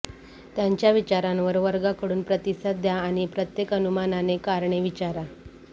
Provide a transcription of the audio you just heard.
त्यांच्या विचारांवर वर्गाकडून प्रतिसाद द्या आणि प्रत्येक अनुमानाने कारणे विचारा